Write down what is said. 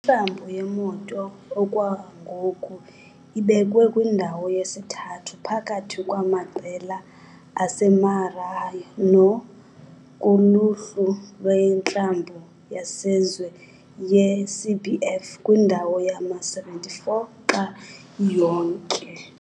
Iklabhu yeMoto okwangoku ibekwe kwindawo yesithathu phakathi kwamaqela aseMaranhão kuluhlu lweklabhu yesazwe yeCBF, kwindawo yama-74 xa iyonke.